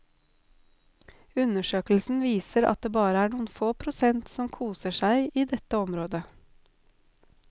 Undersøkelsen viser at det bare er noen få prosent som koser seg i dette området.